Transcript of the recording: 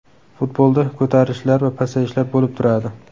Futbolda ko‘tarilishlar va pasayishlar bo‘lib turadi.